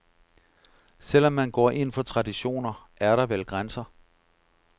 Selv om man går ind for traditioner, er der vel grænser.